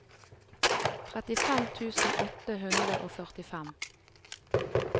trettifem tusen åtte hundre og førtifem